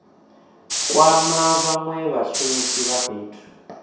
kwama vhanwe vhashumisi vha fhethu